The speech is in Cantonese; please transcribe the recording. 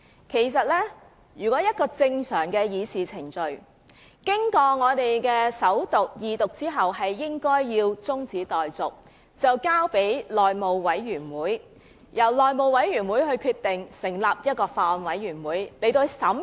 根據正常的議事程序，一項法案經過首讀及二讀後，辯論便應該中止待續，讓法案可以交付內務委員會，由內務委員會決定是否成立法案委員會進行審議。